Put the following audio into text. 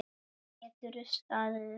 Geturðu staðið upp?